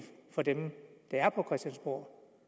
for dem der er på christiansborg